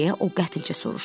deyə o qəfildən soruşdu.